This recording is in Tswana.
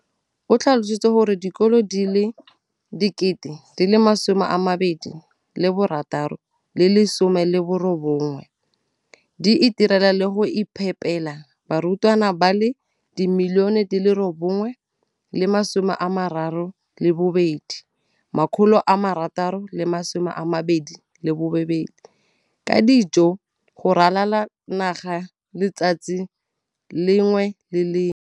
O tlhalositse gore dikolo di le 20 619 di itirela le go iphepela barutwana ba le 9 032 622 ka dijo go ralala naga letsatsi le lengwe le le lengwe.